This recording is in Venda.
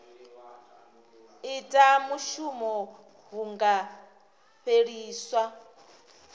ita mushumo hu nga fheliswa